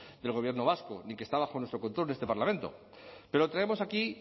del gobierno vasco ni que está bajo nuestro control en este parlamento pero lo traemos aquí